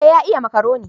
Eh ya iya makaroni